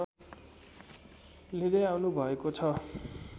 लिँदै आउनुभएको छ